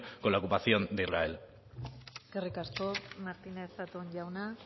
con la ocupación de israel eskerrik asko martínez zatón jauna